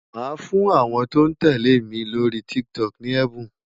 Màá fún àwọn tó ń tẹ̀lé mi lórí TikTok ní ẹ̀bùn.